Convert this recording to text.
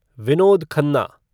Vinod Khanna